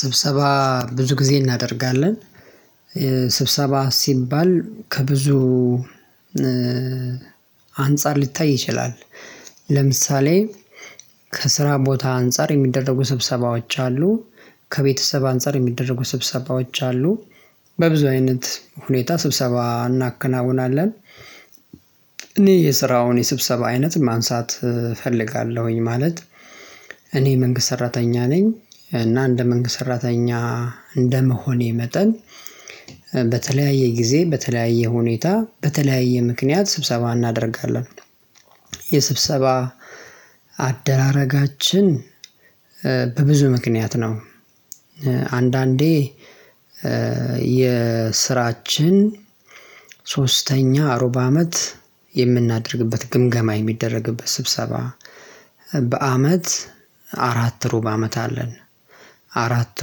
ስብሰባ ብዙ ጊዜ እናደርጋለን። ስብሰባ ሲባል ከብዙ አንፃር ሊታይ ይችላል። ለምሳሌ ከስራ ቦታ አንፃር የሚደረጉ ስብሰባዎች አሉ ከቤተሰብ አንፃር የሚደረጉ ስብሰባዎች አሉ። በብዙ አይነት ሁኔታ ስብሰባ እናከናውናለን። እኔ የስራውን የስብሰባ አይነት ማንሳት እፈልጋለሁኝ ማለት እኔ መንግስት ሰራተኛ ነኝ። እና እንደ መንግስት ሰራተኛ እንደ መሆኔ መጠን በተለያየ ጊዜ በተለያየ ሁኔታ በተለያየ ምክንያት ስብሰባ እናደርጋለን። የስብሰባ አደራረጋችን በብዙ ምክንያት ነው። አንዳንዴ የስራችን ሶስተኛ ርብ አመት የምናደርግበት ግምገማ የሚደረግበት ስብሰባ በአመት አራት ሩብ አመት አለን። አራት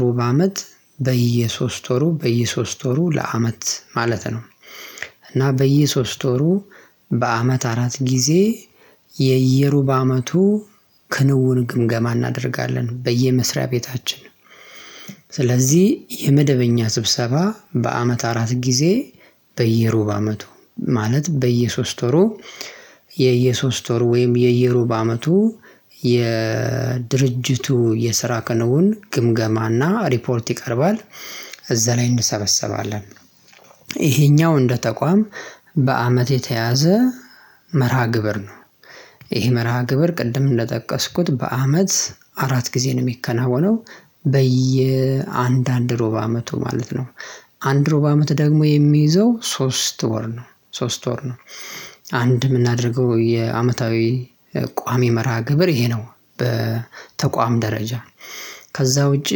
ሩብ አመት በየሶስት ወሩ በየሶስት ወሩ ለአመት ማለት ነው። እና በየሶስት ወሩ በአመት አራት ጊዜ የየሩብ አመቱ ክንውን ግምገማ እናደርጋለን በየመስሪያ ቤታችን። ስለዚህ የመደበኛ ስብሰባ በአመት አራት ጊዜ በየሩብ አመቱ ማለት በየሶስት ወሩ የየሶስት ወር ወይም የየሩብ አመቱ የድርጅቱ የስራ ከንውን ግምገማና ሪፖርት ይቀርባል እዛ ላይ እንሰበሰባለን። ይሄኛው እንደ ተቋም በአመት የተያዘ መርሃ ግብር ነው። ይህ መርሃ ግብር ቅድም እንደጠቀስኩት በአመት አራት ጊዜ ነው የሚከናወነው። በየአንድ አንድ ሮብ አመቱ ማለት ነው። አንድ ሮብ አመት ደግሞ የሚይዘው ሶስት ወር ነው ሶስት ወር ነው። አንድ ምናደርገው የአመታዊ ቋሚ መርሃ ግብር ይሄ ነው። በተቋም ደረጃ ከዛ ውጪ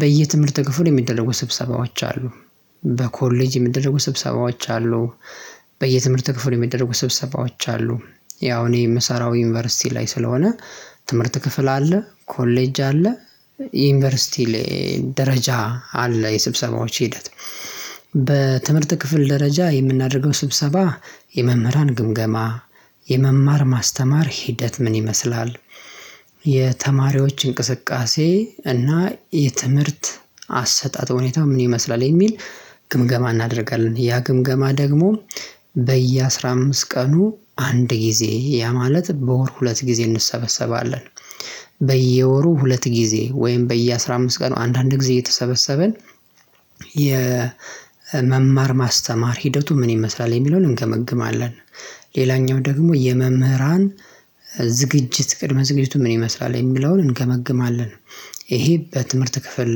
በየትምህርት ክፍል የሚደረጉ ስብሰባዎች አሉ። በኮሌጅ የሚደረጉ ስብሰባዎች አሉ። በየትምህርት ክፍል የሚደረጉ ስብሰባዎች አሉ ያው እኔ ምሰራው ዩኒቨርሲቲ ላይ ስለሆነ ትምህርት ክፍል አለ ኮሌጅ አለ። ዩኒቨርሲቲ ላይ ደረጃ አለ የስብሰባዎች ሂደት። ክፍል ደረጃ የምናደርገው ስብሰባ የመምህራን ግምገማ የመማር ማስተማር ሂደት ምን ይመስላል? የተማሪዎች እንቅስቃሴ እና የትምህርት አሰጣጥ ሁኔታ ምን ይመስላል? የሚል ግምገማ እናደርጋለን ያ ግምገማ ደግሞ በየአስራ አምስት ቀኑ አንድ ጊዜ ያ ማለት በወር ሁለት ጊዜ እንሰበሰባለን። በየወሩ ሁለት ጊዜ ወይም በየአስራ አምስት ቀን አንዳንድ ጊዜ እየተሰበሰበን የመማር ማስተማር ሂደቱ ምን ይመስላል የሚለውን እንገመግማለን። ሌላኛው ደግሞ የመምህራን ዝግጅት ቅድመ ዝግጅቱ ምን ይመስላል የሚለውን እንገመግማለን። ይሄ በትምህርት ክፍል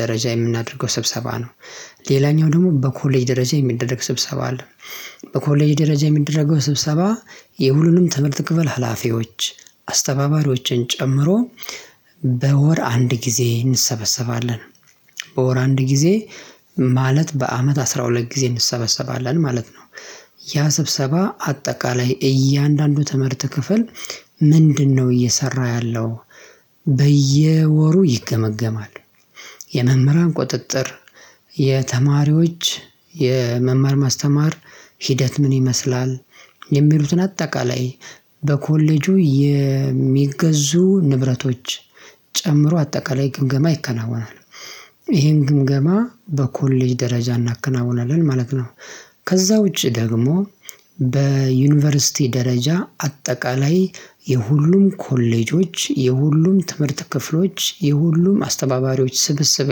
ደረጃ የምናደርገው ስብሰባ ነው። ሌላኛው ደግሞ በኮሌጅ ደረጃ የሚደረግ ስብሰባ አለ። በኮሌጅ ደረጃ የሚደረገው ስብሰባ የሁሉንም ትምህርት ክፍል ሀላፊዎች አስተባባሪዎችን ጨምሮ በወር አንድ ጊዜ እንሰበሰባለን። በወር አንድ ጊዜ ማለት በአመት አስራ ሁለት ጊዜ እንሰበሰባለን ማለት ነው። ያ ስብሰባ አጠቃላይ እያንዳንዱ ትምህርት ክፍል ምንድነው? እየሰራ ያለው በየወሩ ይገመገማል። የመምህራን ቁጥጥር የተማሪዎች የመማር ማስተማር ሂደት ምን ይመስላል? የሚሉትን አጠቃላይ በኮሌጁ የሚገዙ ንብረቶች ጨምሮ አጠቃላይ ግምገማ ይከናወናል። ይሄን ግምገማ በኮሌጅ ደረጃ እናከናውናለን ማለት ነው። ከዛ ውጪ ደግሞ በዩኒቨርሲቲ ደረጃ አጠቃላይ የሁሉም ኮሌጆች የሁሉም ትምህርት ክፍሎች የሁሉም አስተባባሪዎች ስብስብ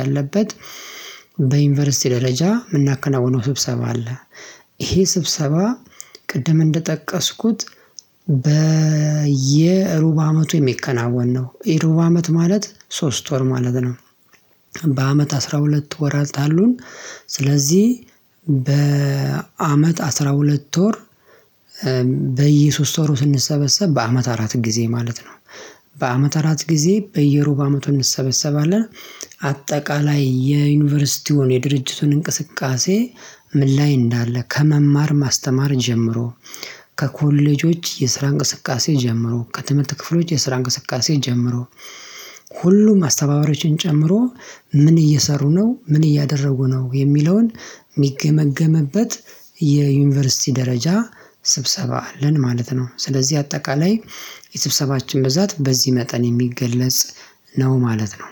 ያለበት በዩኒቨርሲቲ ደረጃ ምናከናውነው ስብሰባ አለ። ይሄ ስብሰባ ቅድም እንደጠቀስኩት በየሩብ አመቱ የሚከናወን ነው የሩብ አመት ማለት ሶስት ወር ማለት ነው። በአመት አስራ ሁለት ወራት አሉን። ስለዚህ በአመት አስራ ሁለት ወር በየሶስት ወሩ ስንሰበሰብ በአመት አራት ጊዜ ማለት ነው። በአመት አራት ጊዜ በየሩብ አመቱ እንሰበሰባለን። አጠቃላይ የዩኒቨርሲቲውን የድርጅቱን እንቅስቃሴ ምን ላይ እንዳለ ከመማር ማስተማር ጀምሮ ከኮሌጆች የስራ እንቅስቃሴ ጀምሮ ከትምህርት ክፍሎች የስራ እንቅስቃሴ ጀምሮ ሁሉም አስተባበሮችን ጨምሮ ምን እየሰሩ ነው ምን እያደረጉ ነው የሚለውን ሚገመግምበት የዩኒቨርሲቲ ደረጃ ስብሰባ አለን ማለት ነው። ስለዚህ አጠቃላይ የስብሰባችን ብዛት በዚህ መጠን የሚገለጽ ነው ማለት ነው።